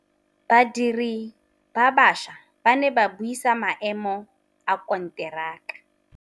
Badiri ba baša ba ne ba buisa maêmô a konteraka.